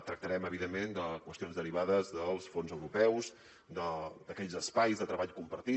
tractarem evidentment de qüestions derivades dels fons europeus d’aquells espais de treball compartit